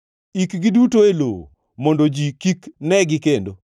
Ikgi duto e lowo; mondo ji kik negi kendo.